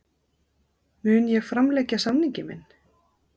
Mun ég framlengja samning minn?